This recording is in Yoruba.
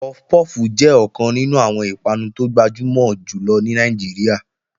Puff puff jẹ́ ọ̀kan nínú àwọn ìpanu tó gbajúmọ̀ jù lọ ní Nàìjíríà.